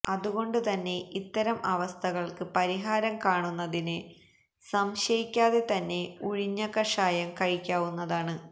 അതുകൊണ്ട് തന്നെ ഇത്തരം അവസ്ഥകള്ക്ക് പരിഹാരം കാണുന്നതിന് സംശയിക്കാതെ തന്നെ ഉഴിഞ്ഞ കഷായം കഴിക്കാവുന്നതാണ്